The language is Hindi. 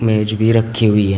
मेज भी रखी हुई है।